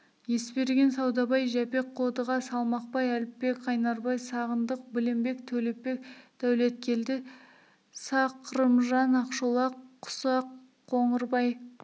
есберген саудабай жәпек қодыға салмақбай әліпбек қайнарбай сағындық білембек төлепбек дәулеткелді сақ рымжан ақшолақ құсақ қоңырбай